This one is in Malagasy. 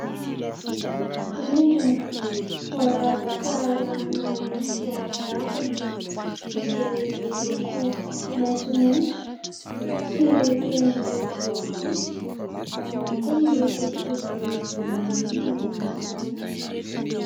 Rindrina voaravaka lamina endrika ravina izay miloko maitsomaintso sy toy ny volafotsy ary ihany koa miloko toy ny volamena ny sasany.